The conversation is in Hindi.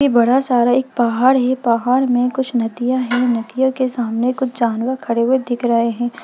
ये बड़ा सारा पहाड़ है पहाड़ मे कुछ नदिया है नदियों के सामने कुछ जानवर खड़े हुए दिख रहे है।